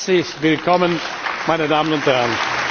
Herzlich willkommen, meine Damen und Herren.